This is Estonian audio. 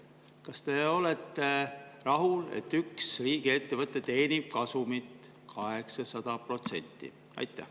Kas te olete rahul, et üks riigiettevõte teenib kasumit 800%?